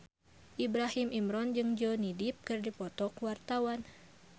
Ibrahim Imran jeung Johnny Depp keur dipoto ku wartawan